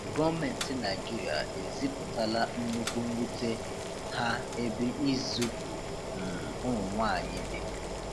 Gọọmenti Naịjirịa ezipụtala nnukwu nwute ha ebe izupu um ụmụnwaanyị dị.